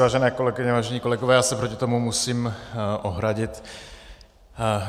Vážené kolegyně, vážení kolegové, já se proti tomu musím ohradit.